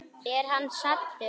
Er hann saddur?